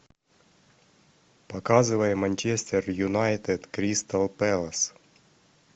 показывай манчестер юнайтед кристал пэлас